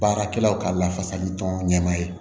Baarakɛlaw ka lafasali tɔn ɲɛmaa ye